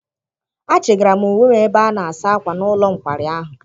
Achịgara m uwe m ebe ana-asa akwa n'ụlọ nkwari ahụ.